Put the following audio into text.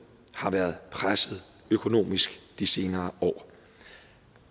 har været presset økonomisk de senere år